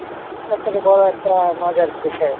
সব থেকে বড় একটা মজার বিষয়।